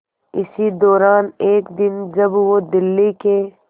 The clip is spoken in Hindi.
इसी दौरान एक दिन जब वो दिल्ली के